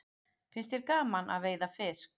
Finnst þér gaman að veiða fisk?